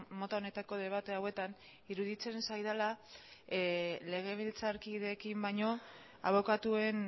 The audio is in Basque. mota honetako debate hauetan iruditzen zaidala legebiltzarkideekin baino abokatuen